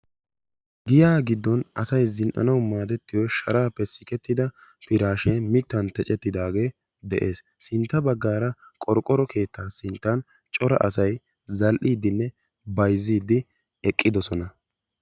Giyaa giddon asayi Zinn"anawu moodettiyo sharaappe sikettida piraashee mittan tecettidaagee de'es. Sintta baggaara qorqqoro keettaa sinttan cora asayi zall'iiddinne bayzziiddi eqqidosona.